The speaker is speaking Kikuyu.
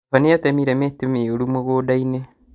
Baba nĩatemire mĩtĩ mĩũru mũgũnda-inĩ